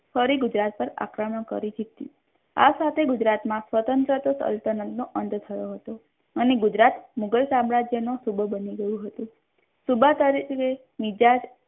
ફરી ગુજરાત પર આક્રમણ કરી જીત્યો આ સાથે ગુજરાત માં સ્વતંત્ર સલ્તનન નો અંત થયો હતો અને ગુજરાત મુઘલ સામ્રાજ્ય નુ સુબુ બની ગયુ હતુ